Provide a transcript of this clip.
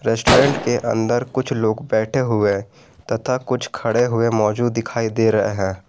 Restaurant के अंदर कुछ लोग बैठे हुए तथा कुछ खड़े हुए मौजूद दिखाई दे रहे हैं।